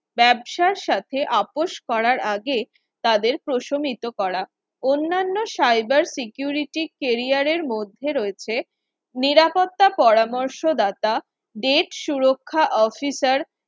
ব্যবসার সাথে আপোষ করার আগে তাদের প্রশমিত করা অন্যান্য cyber security career রের মধ্যে রয়েছে নিরাপত্তা পরামর্শদাতা Rate সুরক্ষা Officer